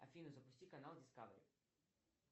афина запусти канал дискавери